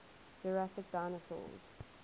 jurassic dinosaurs